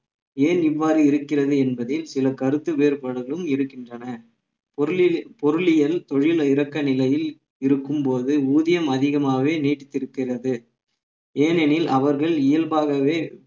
ஏன் இவ்வாறு இருக்கிறது என்பதில் சில கருத்து வேறுபாடுகளும் இருக்கின்றன பொருளில் பொருளியல் தொழில் இரக்க நிலையில் இருக்கும்போது ஊதியம் அதிகமாகவே நீடித்திருக்கிறது ஏனெனில் அவர்கள் இயல்பாகவே